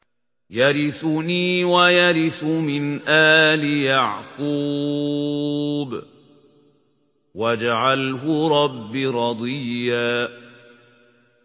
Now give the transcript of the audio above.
يَرِثُنِي وَيَرِثُ مِنْ آلِ يَعْقُوبَ ۖ وَاجْعَلْهُ رَبِّ رَضِيًّا